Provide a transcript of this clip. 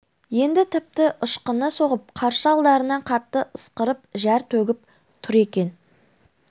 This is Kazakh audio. енді тіпті ышқына соғып қарсы алдарынан қатты ысқырып зәр төгіп тұр екен